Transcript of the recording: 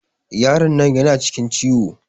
Yaron nan yana cikin ciwo.